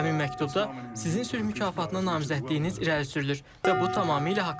Həmin məktubda sizin sülh mükafatına namizədliyiniz irəli sürülür və bu tamamilə haqlıdır.